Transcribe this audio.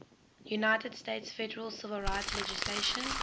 united states federal civil rights legislation